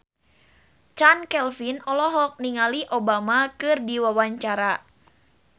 Chand Kelvin olohok ningali Obama keur diwawancara